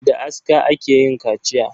Da aska ake yin kaciya.